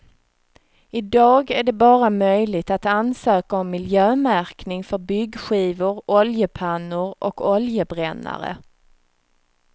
Idag är det bara möjligt att ansöka om miljömärkning för byggskivor, oljepannor och oljebrännare.